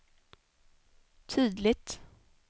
tydligt